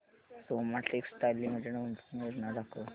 Soma textile limited गुंतवणूक योजना दाखव